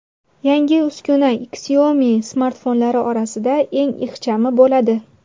Yangi uskuna Xiaomi smartfonlari orasida eng ixchami bo‘ladi.